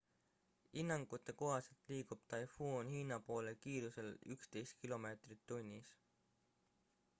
hinnangute kohaselt liigub taifuun hiina poole kiirusel 11 km/h